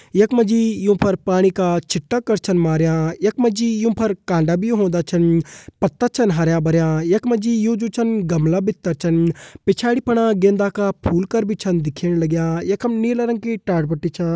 यख मा युं पर पाणी का छिटा कर छन मार्यां यख मा जी युं पर कांडा भी होंदा छन पत्ता छन हरयां भरयां यख मा जी यु जु छन गमला भितर छन पिछाड़ी फणा गेंदा का फूल कर भी दिखेण लग्यां यखम नीला रंग की टाट पट्टी छा।